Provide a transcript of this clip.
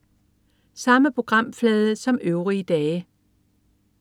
Samme programflade som øvrige dage